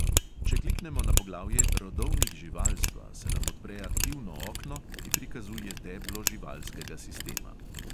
Če kliknemo na poglavje rodovnik živalstva, se nam odpre aktivno okno, ki prikazuje deblo živalskega sistema.